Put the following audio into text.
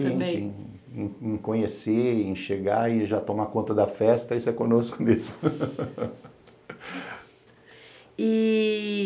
Experientes em conhecer, em chegar e já tomar conta da festa e ser conosco nisso. e